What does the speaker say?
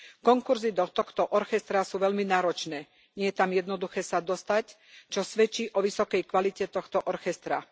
Konkurzy do tohto orchestra sú veľmi náročné, nie je tam jednoduché sa dostať, čo svedčí o vysokej kvalite tohto orchestra.